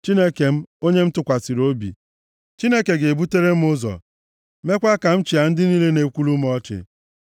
Chineke m, onye m tụkwasịrị obi. Chineke ga-ebutere m ụzọ mekwaa ka m chịa ndị niile na-ekwulu m ọchị.